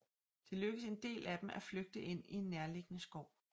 Det lykkedes en del af dem at flygte ind i en nærliggende skov